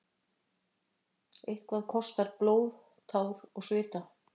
Eitthvað kostar blóð, tár og svita